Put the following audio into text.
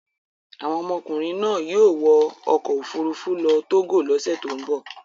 Àwọn ọmọkùnrin náà yóò wọ ọkọ̀-òfurufú lọ Togo lọ́sẹ̀ tó ń bọ̀.